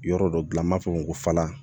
Yɔrɔ dɔ dilan n b'a fɔ ko fala